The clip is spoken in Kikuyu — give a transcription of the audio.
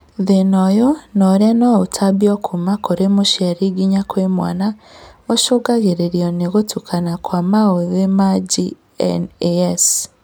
Thĩna ũyũ na ũrĩa noũtambio kuma kũrĩ mũciari nginya mwana, ũcũngagĩrĩrio nĩ gũtukana kwa maũthĩ ma GNAS